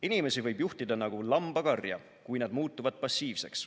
Inimesi võib juhtida nagu lambakarja, kui nad muutuvad passiivseks.